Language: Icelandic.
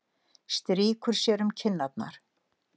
Strýkur sér um kinnarnar.